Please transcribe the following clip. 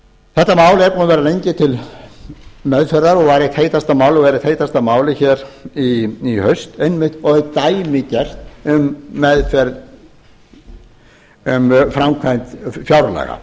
þetta mál er búið að vera lengi til meðferðar og var eitt heitasta málið hér í haust og er dæmigert um framkvæmd fjárlaga